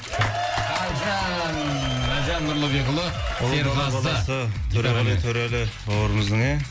әлжан әлжан нұрлыбекұлы серғазы ұлы дала баласы төреғали төрәлі бауырымыздың ә